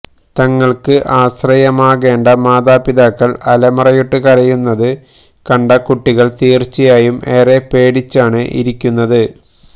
തങ്ങൾക്ക് ആശ്രയമാകേണ്ട മാതാപിതാക്കൾ അലമുറയിട്ട് കരയുന്നത് കണ്ട കുട്ടികൾ തീർച്ചയായും ഏറെ പേടിച്ചാണ് ഇരിക്കുന്നത്